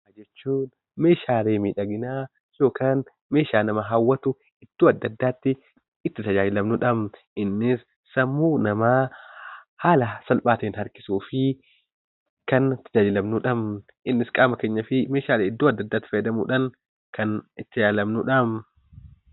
Meeshaalee miidhaginaa meeshaalee nama hawwatu iddoo adda addaatti itti tajaajilamnudha. Innis sammuu namaa haala salphaa ta'een harkisuuf kan itti tajaajilamnudha. Innis qaama keenyaa fi meeshaalee adda addaatti fayyadamuudhaan kan itti tajaajilamnudha.